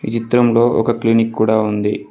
ఈ చిత్రంలో ఒక క్లినిక్ కూడా ఉంది.